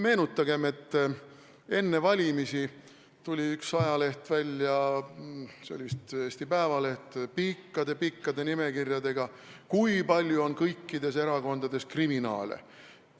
Meenutagem, et enne valimisi tuli üks ajaleht – see oli vist Eesti Päevaleht – välja pikkade-pikkade nimekirjadega, kust nägi, kui palju on kõikides erakondades kriminaale.